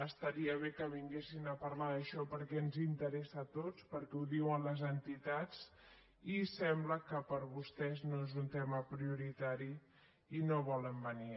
estaria bé que vinguessin a parlar d’això perquè ens interessa a tots perquè ho diuen les entitats i sembla que per vostès no és un tema prioritari i no volen venir